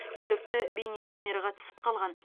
күдікті бейнекамераға түсіп қалған